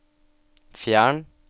fjern